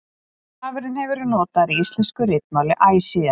stafurinn hefur verið notaður í íslensku ritmáli æ síðan